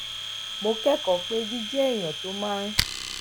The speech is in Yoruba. mo kékòó pé jíjé ẹni tó máa ń